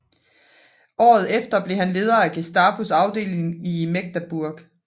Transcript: Året efter blev han leder af Gestapos afdeling i Magdeburg